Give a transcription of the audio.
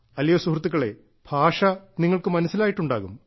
അല്ലയോ സുഹൃത്തുക്കളെ ഭാഷ നിങ്ങൾക്ക് മനസ്സിലായിട്ടുണ്ടാകും